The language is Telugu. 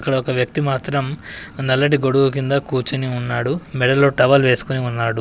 ఇక్కడ ఒక వ్యక్తి మాత్రం నల్లటి గొడుగు కింద కూర్చొని ఉన్నాడు. మెడలో టవల్ వేసుకొని ఉన్నాడు.